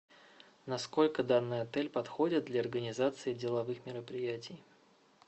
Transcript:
насколько данный отель подходит для организации деловых мероприятий